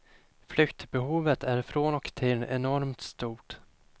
Flyktbehovet är från och till enormt stort.